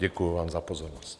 Děkuji vám za pozornost.